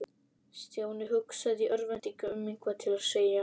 Stjáni hugsaði í örvæntingu um eitthvað til að segja.